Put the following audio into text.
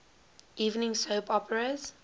evening soap operas